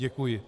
Děkuji.